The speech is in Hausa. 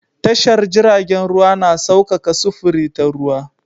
Tashar jiragen ruwa na saukaka sufuri ta ruwa.